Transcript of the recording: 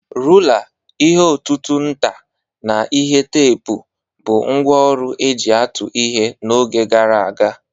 Rula, ihe ọ̀tụ̀tụ̀ nta, na ihe teepu bụ ngwá ọrụ e ji atụ ihe n'oge gara aga.